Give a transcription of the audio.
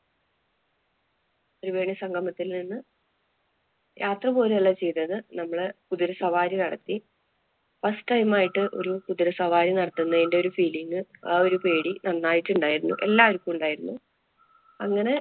ത്രിവേണി സംഗമത്തില്‍ നിന്നും യാത്ര പോരല്ല ചെയ്തത്. നമ്മള് കുതിരസവാരി നടത്തി. first time ആയിട്ട് ഒരു കുതിരസവാരി നടത്തുന്നതിന്‍റെ ഒരു feeling ആ ഒരു പേടി നന്നായിട്ട് ഉണ്ടായിരുന്നു. എല്ലാവര്‍ക്കും ഉണ്ടായിരുന്നു. അങ്ങനെ